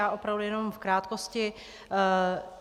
Já opravdu jenom v krátkosti.